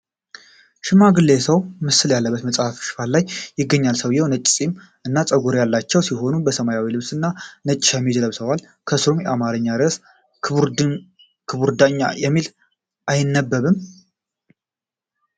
የሽማግሌ ሰው ምስል ያለበትን መጽሐፍ ሽፋን ያሳያል። ሰውዬው ነጭ ጺም እና ፀጉር ያላቸው ሲሆን፣ በሰማያዊ ልብስና ነጭ ሸሚዝ ለብሰዋል፤ ከሥሩም የአማርኛ ርዕስ "ክቡር ዳኛ" የሚል አይነበብም?